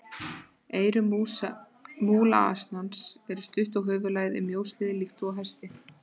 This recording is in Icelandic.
Eyru múlasnans eru stutt og höfuðlagið er mjóslegið líkt og á hesti.